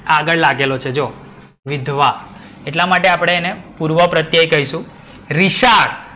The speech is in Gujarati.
આગડ લાગેલો છે જોવો. વિધવા એટલા માટે આપડે એને પૂર્વપ્રત્યય કહીશું. રિશાળ.